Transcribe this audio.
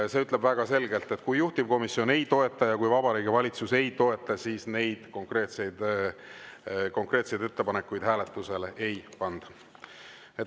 See ütleb väga selgelt, et kui juhtivkomisjon ei toeta ja kui Vabariigi Valitsus ei toeta, siis neid konkreetseid ettepanekuid hääletusele ei panda.